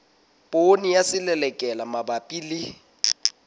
poone ya selelekela mabapi le